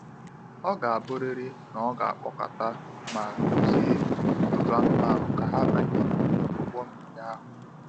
Ọ ga abụrịrị na ọ ga akpọkọta ma duzie ọtụtụ anụmanụ ka ha banye n’ime ụgbọ mmiri ahụ.